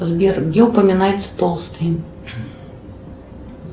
сбер где упоминается толстый